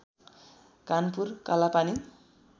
Kanpur Kalapani